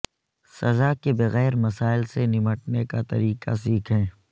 سزا کے بغیر مسائل سے نمٹنے کا طریقہ سیکھیں